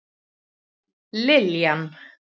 Liljan